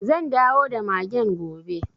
Zan dawo da magen gobe.